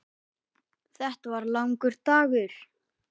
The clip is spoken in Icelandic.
Elska ykkur allar.